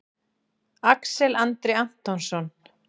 Axel Andri Antonsson